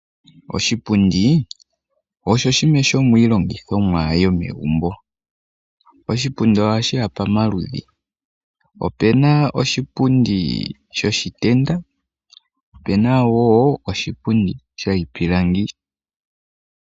Oshipundi osho shimwe shomiilongithomwa yomegumbo. Oshipundi ohashiya pamaludhi. Opuna oshipundi shoshitenda, opuna wo oshipundi shoshipilangi.